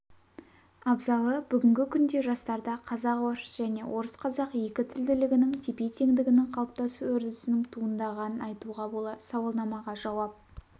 абзалы бүгінгі күнде жастарда қазақ-орыс және орысқазақ екі тілділігінің тепе-теңдігінің қалыптасу үрдісінің туындағанын айтуға болар сауалнамаға жауап